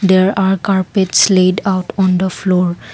there are carpets slide out on the floor.